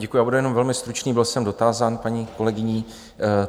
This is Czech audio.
Děkuji, já budu jenom velmi stručný, byl jsem dotázán paní kolegyní.